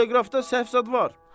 Bəlkə teleqrafda səhv zad var?